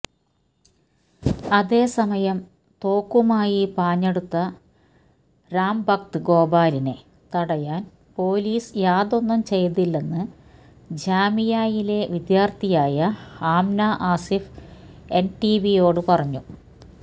അതേസമയം തോക്കുമായി പാഞ്ഞടുത്ത രാംഭക്ത് ഗോപാലിനെ തടയാന് പൊലീസ് യാതൊന്നും ചെയ്തില്ലെന്ന് ജാമിയയിലെ വിദ്യാര്ത്ഥിയായ ആംന ആസിഫ് എന്ഡിടിവിയോട് പറഞ്ഞു